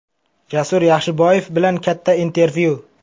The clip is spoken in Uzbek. Jasur Yaxshiboyev bilan katta intervyu.